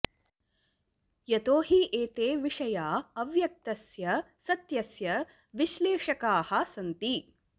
यतो हि एते विषया अव्यक्तस्य सत्यस्य विश्लेषकाः सन्ति